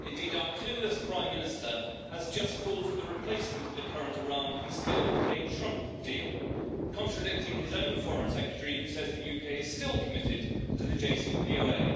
Indeed our clueless Prime Minister has just called for the replacement of the current Iran peace deal with a Trump deal, contradicting his own Foreign Secretary, who says the UK is still committed to the JCPOA.